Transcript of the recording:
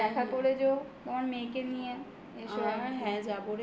দেখা করে যেও তোমার মেয়েকে নিয়ে. এসো